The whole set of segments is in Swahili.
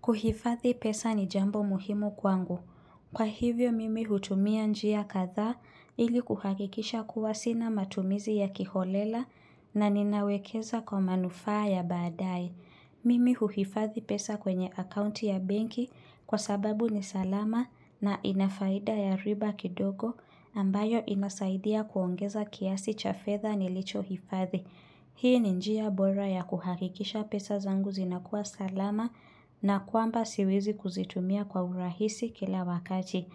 Kuhifadhi pesa ni jambo muhimu kwangu. Kwa hivyo mimi hutumia njia katha ili kuhakikisha kuwa sina matumizi ya kiholela na ninawekeza kwa manufaa ya baadae. Mimi huhifathi pesa kwenye akaunti ya benki kwa sababu ni salama na inafaida ya riba kidogo ambayo inasaidia kuongeza kiasi cha fedha nilicho hifadhi. Hii ni njia bora ya kuhakikisha pesa zangu zinakua salama na kwamba siwezi kuzitumia kwa urahisi kila wakati.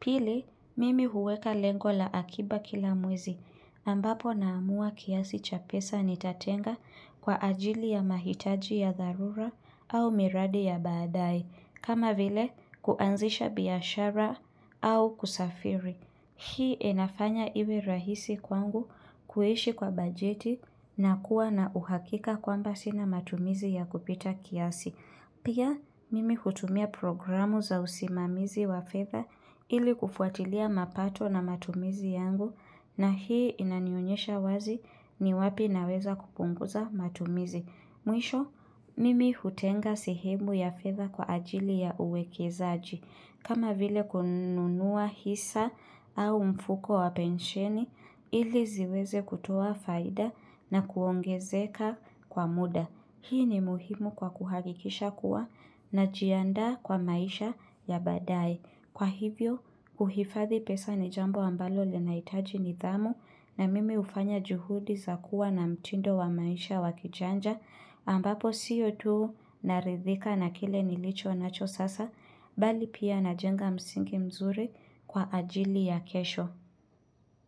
Pili, mimi huweka lengo la akiba kilamwezi ambapo naamua kiasi cha pesa nitatenga kwa ajili ya mahitaji ya dharura au miradi ya baadae. Kama vile, kuanzisha biashara au kusafiri. Hii inafanya iwe rahisi kwangu kuishi kwa bajeti na kuwa na uhakika kwamba sina matumizi ya kupita kiasi. Pia mimi hutumia programu za usimamizi wa fedha ili kufuatilia mapato na matumizi yangu na hii inanionyesha wazi ni wapi naweza kupunguza matumizi. Mwisho, mimi hutenga sihemu ya fedha kwa ajili ya uwekezaji. Kama vile kununua hisa au mfuko wa pensheni ili ziweze kutoa faida na kuongezeka kwa muda. Hii ni muhimu kwa kuhakikisha kuwa najiandaa kwa maisha ya baadae. Kwa hivyo, uhifadhi pesa ni jambo ambalo lenaitaji nidhamu na mimi ufanya juhudi za kuwa na mtindo wa maisha wakijanja ambapo siyo tuu naridhika na kile nilicho nacho sasa, bali pia najenga msingi mzuri kwa ajili ya kesho.